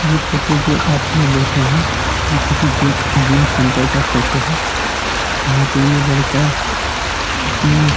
यह फ़ोटो जो आप लोग देख रहे हैं। यह किसी जिम जिम सेंटर का फ़ोटो है जहाँ पे ये लड़का अपनी --